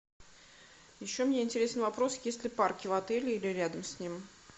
еще мне интересен вопрос есть ли парки в отеле или рядом с ним